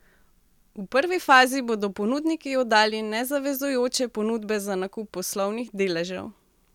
V prvi fazi bodo ponudniki oddali nezavezujoče ponudbe za nakup poslovnih deležev.